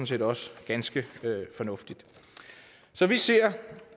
set også ganske fornuftigt så vi ser